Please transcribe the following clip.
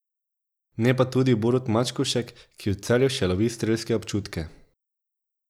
Ne pa tudi Borut Mačkovšek, ki v Celju še lovi strelske občutke.